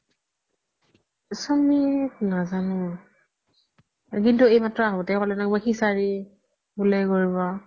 সুমিত নাজানো কিন্তু এইমাত্ৰ আহুতেই ক্'লে ন সিচাৰি বুলেই কৰিব